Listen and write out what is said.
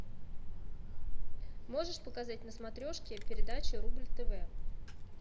можешь показать на смотрешке передачу рубль тв